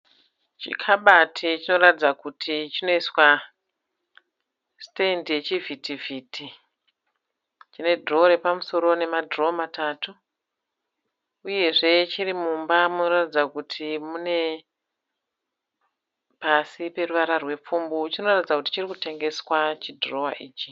Chikabati choratidza kuti chinoiswa sitendi yechivhitivhiti, chine dhirowa rapamusoro nemadhirowa matatu uyezve chiri mumba munoratidza kuti mune pasi peruvara rwepfumbu. Chinoratidza kuti chiri kutengeswa chidhirowa ichi.